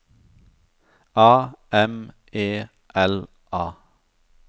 A M E L A